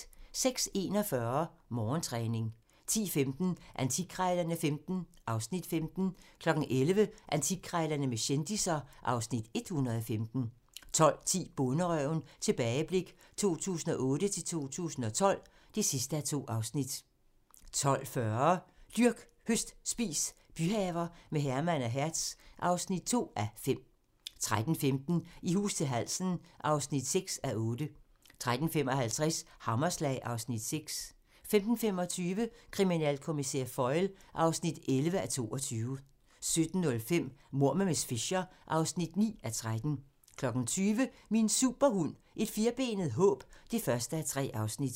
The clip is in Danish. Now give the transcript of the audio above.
06:41: Morgentræning 10:15: Antikkrejlerne XV (Afs. 15) 11:00: Antikkrejlerne med kendisser (Afs. 115) 12:10: Bonderøven - tilbageblik 2008-2012 (2:2) 12:40: Dyrk, høst, spis - byhaver med Herman og Hertz (2:5) 13:15: I hus til halsen (6:8) 13:55: Hammerslag (Afs. 6) 15:25: Kriminalkommissær Foyle (11:22) 17:05: Mord med miss Fisher (9:13) 20:00: Min Superhund: Et firbenet håb (1:3)